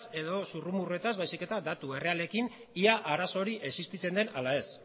edo zurrumurruetaz baizik eta datu errealekin ia arazo hori existitzen den ala ez